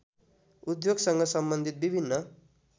उद्योगसँग सम्बन्धित विभिन्न